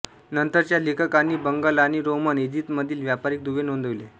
नंतरच्या लेखकांनी बंगाल आणि रोमन इजिप्तमधील व्यापारिक दुवे नोंदविले